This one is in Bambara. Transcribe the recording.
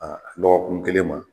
Aa lɔgɔkun kelen ma